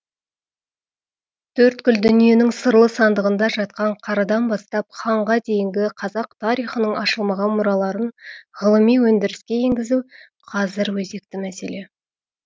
төрткүл дүниенің сырлы сандығында жатқан қарадан бастап ханға дейінгі қазақ тарихының ашылмаған мұраларын ғылыми өндіріске енгізу қазір өзекті мәселе